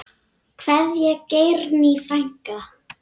Kveðja, Geirný frænka.